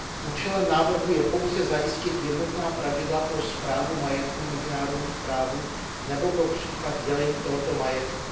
Účelem návrhu je pouze zajistit jednotná pravidla pro správu majetku mezinárodních párů nebo pro případ dělení tohoto majetku.